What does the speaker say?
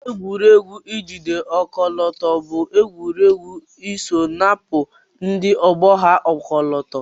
Egwuregwu ijide ọkọlọto bu egwuregwu isọ inapụ ndi ogbo ha ọkọlọtọ.